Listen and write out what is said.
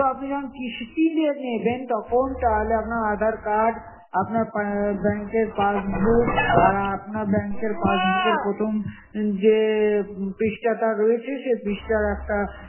কিন্তু আপনি যখন কিস্তিতে নেবেন তখন তাহলে আপনার aadhar card, আপনার bank র passbook, আর আপনার bank র passbook এর প্রথম যে পৃষ্ঠা টা রয়েছে, সেই পৃষ্ঠার একটা